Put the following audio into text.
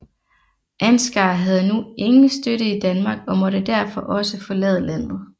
Ansgar havde nu ingen støtte i Danmark og måtte derfor også forlade landet